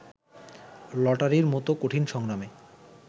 লটারির মতো কঠিন সংগ্রামে